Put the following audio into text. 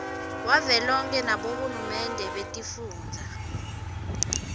wavelonkhe nabohulumende betifundza